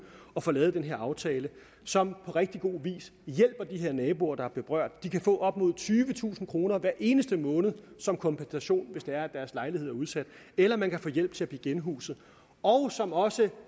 at få lavet den her aftale som på rigtig god vis hjælper de her naboer der er berørt de kan få op mod tyvetusind kroner hver eneste måned som kompensation hvis det er deres lejlighed er udsat eller man kan få hjælp til at blive genhuset og som også